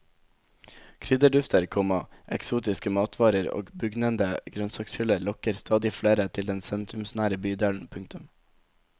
Krydderdufter, komma eksotiske matvarer og bugnende grønnsakshyller lokker stadig flere til den sentrumsnære bydelen. punktum